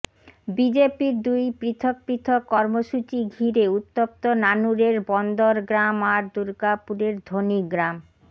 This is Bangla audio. বিজেপির দুই পৃথক পৃথক কর্মসূচী ঘিরে উত্তপ্ত নানুরের বন্দর গ্রাম আর দুর্গাপুরের ধ্বনি গ্রাম